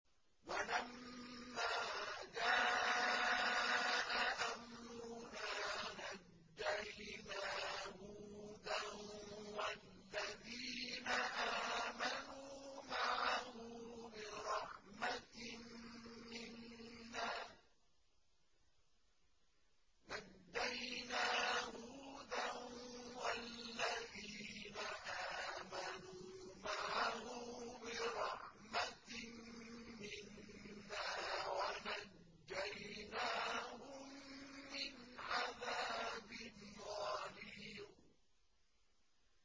وَلَمَّا جَاءَ أَمْرُنَا نَجَّيْنَا هُودًا وَالَّذِينَ آمَنُوا مَعَهُ بِرَحْمَةٍ مِّنَّا وَنَجَّيْنَاهُم مِّنْ عَذَابٍ غَلِيظٍ